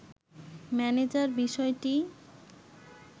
manager বিষয়টি